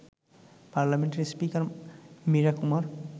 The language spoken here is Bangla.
পার্লামেন্টের স্পিকার মীরা কুমার